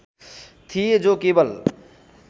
थिए जो केवल